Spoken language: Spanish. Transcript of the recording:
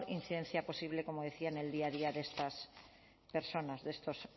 incidencia posible como decía en el día a día de estas personas de estos